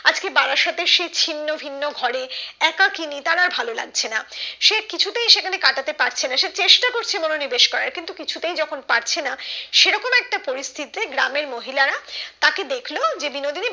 আজকে বারাসাতে সে ছিন্নভিন্ন ঘরে একাকিনী তার আর ভালো তার এই ভালো লাগছে না না সে কিছুতেই সেখানে কাটা তে পারছে না সে চেষ্টা করছে মনো নিবাস করার কিন্তু কিছুতেই যখন পারছে না সেরকম একটা পরিস্থিতিতে গ্রামের মহিলারা তাকে দেখলো যে বিনোদির